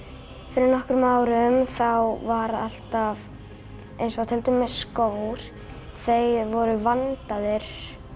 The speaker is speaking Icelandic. fyrir nokkrum árum þá var alltaf eins og til dæmis skór þeir voru vandaðir